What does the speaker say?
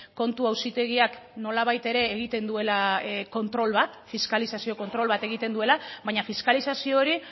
kontu auzitegiak nolabait ere egiten duela kontrol bat fiskalizazio kontrol bat egiten duela baina fiskalizazio hori